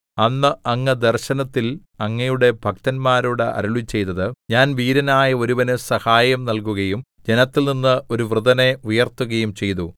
അന്ന് അങ്ങ് ദർശനത്തിൽ അങ്ങയുടെ ഭക്തന്മാരോട് അരുളിച്ചെയ്തത് ഞാൻ വീരനായ ഒരുവന് സഹായം നല്കുകയും ജനത്തിൽനിന്ന് ഒരു വൃതനെ ഉയർത്തുകയും ചെയ്തു